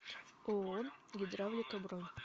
ооо гидравлика бронь